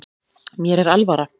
Mér er alvara